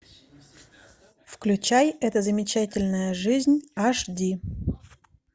включай эта замечательная жизнь аш ди